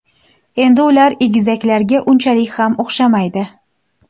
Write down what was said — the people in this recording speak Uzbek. Endi ular egizaklarga unchalik ham o‘xshamaydi.